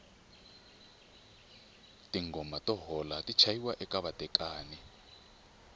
tingoma to hola ti chayiwa eka vatekani